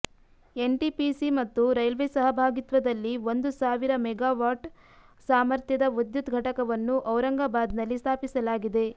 NTPC ಮತ್ತು railway ಸಹಭಾಗಿತ್ವದಲ್ಲಿ ಒಂದು ಸಾವಿರ ಮೆಗಾವಾಟ್ ಸಾಮರ್ಥ್ಯದ ವಿದ್ಯುತ್ ಘಟಕವನ್ನು ಔರಂಗಬಾದ್ನಲ್ಲಿ ಸ್ಥಾಪಿಸಲಾಗಿದೆ